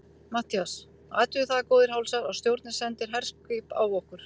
MATTHÍAS: Athugið það, góðir hálsar, að stjórnin sendir herskip á okkur!